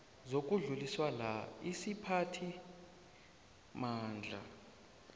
zokudluliswa la isiphathimandla